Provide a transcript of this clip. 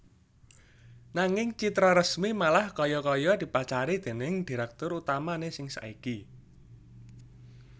Nanging Citraresmi malah kaya kaya dipacari déning direktur utamané sing saiki